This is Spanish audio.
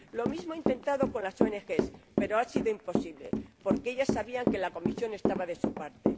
Lo mismo he intentado con las ONG, pero ha sido imposible, porque ellas sabían que la Comisión estaba de su parte.